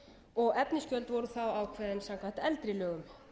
og efnisgjöld voru þá ákveðin samkvæmt eldri lögum